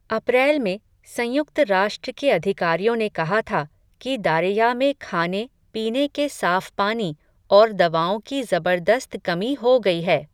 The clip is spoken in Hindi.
अप्रैल में, संयुक्त राष्ट्र के अधिकारियों ने कहा था, कि दारेया में खाने, पीने के साफ़ पानी, और दवाओं की ज़बरदस्त कमी हो गई है.